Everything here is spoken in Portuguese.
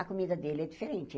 A comida dele é diferente.